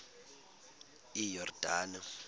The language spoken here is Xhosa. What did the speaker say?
iyordane